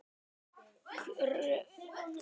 Hreyfing komin á fjárfesta